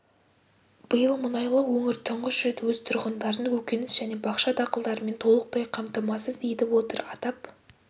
биыл мұнайлы өңір тұңғыш рет өз тұрғындарын көкөніс және бақша дақылдарымен толықтай қамтамасыз етіп отыр атап